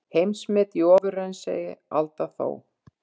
Heimsmet í ofraunsæi, Alda þó.